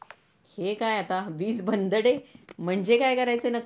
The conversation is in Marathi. हे काय आता वीज बंद डे म्हणजे काय करायचं नक्की ?